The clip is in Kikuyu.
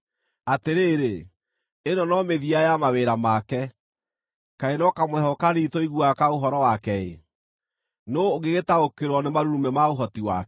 Atĩrĩrĩ, ĩno no mĩthia ya mawĩra make; kaĩ no kamũheehũ kanini tũiguaga ka ũhoro wake-ĩ! Nũũ ũngĩgĩtaũkĩrwo nĩ marurumĩ ma ũhoti wake?”